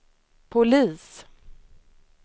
polis